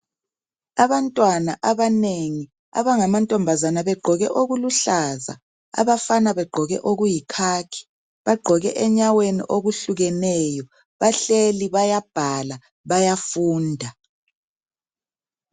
Abantwana abanengi abangamankazana begqoke okuluhlaza abafana begqoke okuyi khakhi bagqoke enyaweni okuhlukeneyo bahleli bayabhala bayafunda.